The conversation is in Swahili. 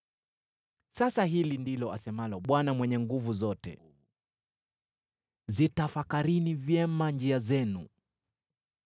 Sasa hili ndilo asemalo Bwana Mwenye Nguvu Zote: “Zitafakarini vyema njia zenu.